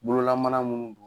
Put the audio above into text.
Bololamana minnu don